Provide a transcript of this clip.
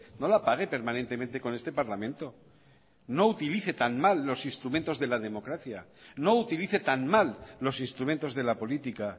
no la pague permanentemente con este parlamento no utilice tan mal los instrumentos de la democracia no utilice tan mal los instrumentos de la política